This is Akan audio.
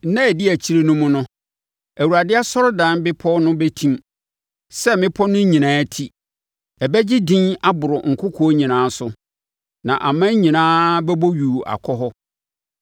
Nna a ɛdi akyire no mu no, Awurade asɔredan bepɔ no bɛtim sɛ mmepɔ no nyinaa ti; ɛbɛgye edin aboro nkokoɔ nyinaa so na aman nyinaa bɛbɔ yuu akɔ hɔ.